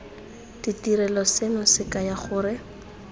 ditirelo seno se kaya gore